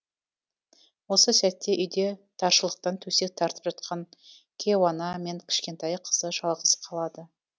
осы сәтте үйде таршылықтан төсек тартып жатқан кейуана мен кішкентай қызы жалғыз қалады